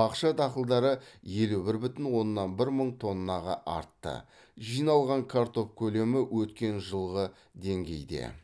бақша дақылдары елу бір бүтін оннан бір мың тоннаға артты жиналған картоп көлемі өткен жылғы деңгейде